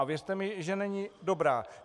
A věřte mi, že není dobrá.